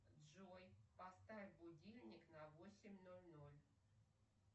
джой поставь будильник на восемь ноль ноль